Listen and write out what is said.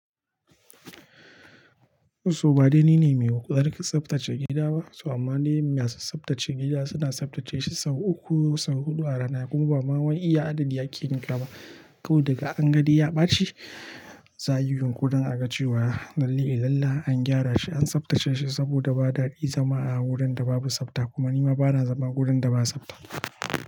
So ba dai ni ne mai huƙ tsaftace gida ba, so amma dai masu tsaftace gida suna tsaftace shi sau uku ko sau huɗu a rana kuma ba ma wai iya adadi ake yin kama. Ko daga an gani ya ɓaci, za a yi yunƙurin aga cewa lallai ilalla an gyara shi, an tsaftace shi saboda ba daɗi zama a wurin da babu tsafta kuma ni ma ba na zama wurin da ba tsafta.